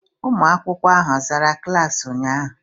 ụmụ akwụkwọ ahụ a zaa klaasị a ụnyahụ?